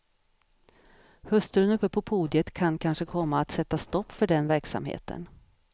Hustrun uppe på podiet kan kanske komma att sätta stopp för den verksamheten.